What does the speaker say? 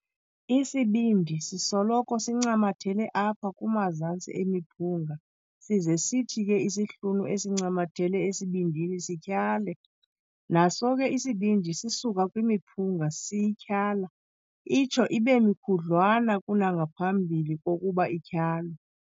Isibindi sisoloko sincamathele apha kumazantsi emiphunga size sithi ke isihlunu esincamathele esibindini sityhale, naso ke isibindi sisuka kwimiphunga siyityhala, itsho ibe mikhudlwana kunangaphambi kokuba ityhalwe.